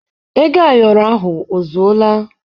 Ego ayoro ahụ ozuọla?